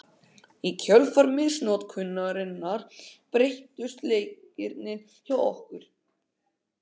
Í kjölfar misnotkunarinnar breyttust leikirnir hjá okkur.